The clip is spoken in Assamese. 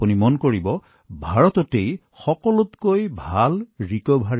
আপুনি দেখিব যে ভাৰতত পুনৰুদ্ধাৰৰ হাৰ সৰ্বশ্ৰেষ্ঠ